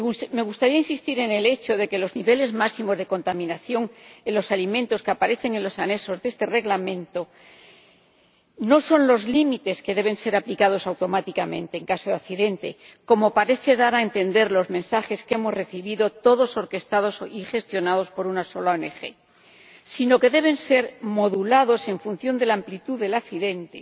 Me gustaría insistir en el hecho de que los niveles máximos de contaminación en los alimentos que aparecen en los anexos de esta propuesta de Reglamento no son los límites que deben ser aplicados automáticamente en caso de accidente, como parecen dar a entender los mensajes que hemos recibido —todos orquestados y gestionados por una sola ONG—, sino que deben ser modulados en función de la amplitud del accidente,